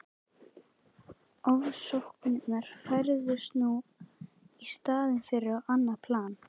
Ofsóknirnar færðust nú í staðinn yfir á annað plan.